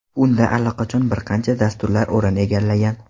Unda allaqachon bir qancha dasturlar o‘rin egallagan.